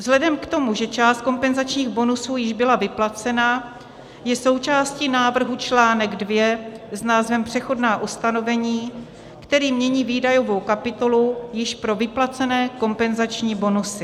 Vzhledem k tomu, že část kompenzačních bonusů již byla vyplacena, je součástí návrhu článek 2 s názvem Přechodná ustanovení, který mění výdajovou kapitolu již pro vyplacené kompenzační bonusy.